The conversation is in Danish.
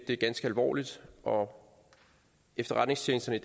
er ganske alvorligt og efterretningstjenesterne